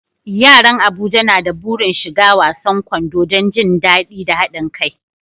Yaran Abuja na da burin shiga wasan kwando don jin daɗi da haɗin kai.